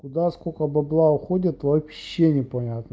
куда сколько бабла уходит вообще не понятно